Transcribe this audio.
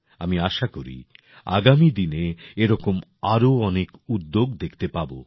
আমি আশা করি আগামী দিনে এরকম আরও অনেক উদ্যোগ দেখতে পাব